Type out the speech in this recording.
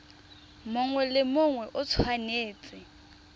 mongwe le mongwe o tshwanetse